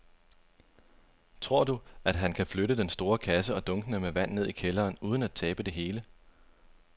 Tror du, at han kan flytte den store kasse og dunkene med vand ned i kælderen uden at tabe det hele?